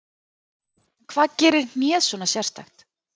En hvað gerir hnéð svona sérstakt?